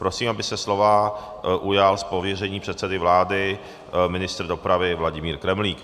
Prosím, aby se slova ujal z pověření předsedy vlády ministr dopravy Vladimír Kremlík.